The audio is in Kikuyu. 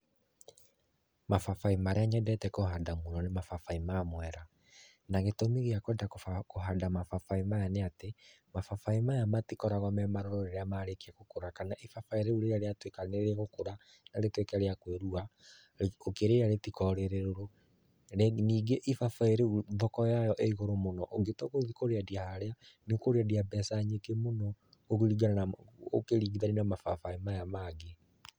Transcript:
Mababaĩ marĩa nyendete kũhanda mũno nĩ mababaĩ ma mwera, na gĩtũmi gĩa kwenda kũhanda mababaĩ maya nĩ atĩ mababaĩ maya matikoragwa memarũrũ rĩrĩa marĩkia gũkũra kana ibabaĩ rĩũ rĩa rĩatuĩka nĩrĩgũkũra na rĩtuĩke rĩa kwĩrua ũkĩrĩa rĩtĩkoragwa rĩrĩrũrũ, ningĩ ĩbabaĩ rĩũ thoko yao ĩgũrũ mũno ũngĩtua gũthiĩ kũrĩendia harĩa nĩũkũrĩendia mbeca nyingĩ mũno ũkĩringithania na mababaĩ maya mangĩ.